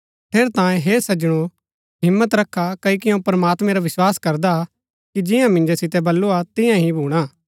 ठेरैतांये हे सज्जनो हिम्मत रखा क्ओकि अऊँ प्रमात्मैं रा विस्वास करदा कि जिंआं मिन्जो सितै बलूआ तियां ही भूणा